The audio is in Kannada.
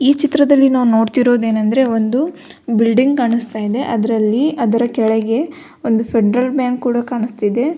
ಈ ಚಿತ್ರದಲ್ಲಿ ನಾವು ನೋಡ್ತಿರೋದು ಏನಂದ್ರೆ ಒಂದು ಬಿಲ್ಡಿಂಗ್ ಕಾಣಿಸ್ತಾ ಇದೆ ಅದ್ರಲ್ಲಿ ಅದರ ಕೆಳ್ಗೆ ಒಂದು ಫೆಡರಲ್ ಬ್ಯಾಂಕ್ ಕೂಡ ಕಾಣಿಸ್ತ ಇದೆ.